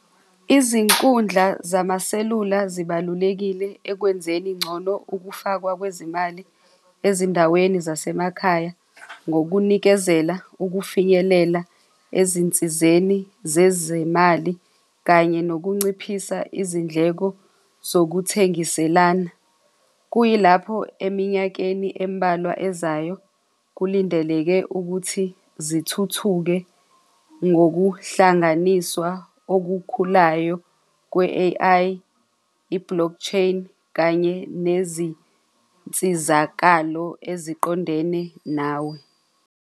Izinkundla zamaselula zibalulekile ekwenzeni ngcono ukufakwa kwezimali ezindaweni zasemakhaya, ngokunikezela ukufikelela ezinsizeni zezemali kanye nokunciphisa izindleko zokuthengiselana. Kuyilapho eminyakeni embalwa ezayo kulindeleke ukuthi zithuthuki ngokuhlanganiswa okukhulayo kwe-A_I, i-block chain kanye nezinsizakalo eziqondene nawe.